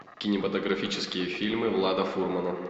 кинематографические фильмы влада фурмана